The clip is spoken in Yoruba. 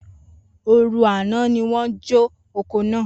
Oru ana ni won jo oko naa.